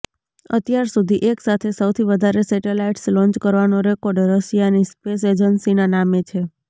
અત્યાર સુધી એક સાથે સૌથી વધારે સેટેલાઈટ્સ લોન્ચ કરવાનો રેકોર્ડ રશિયાની સ્પેસ એજન્સીના નામે છે